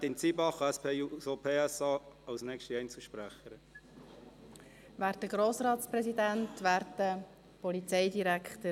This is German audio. Grossrätin Zybach, SP-JUSO-PSA, hat als nächste Einzelsprecherin das Wort.